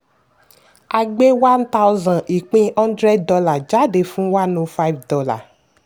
a gbé one thousand ìpín hundred dollar jáde fún one o five dollar.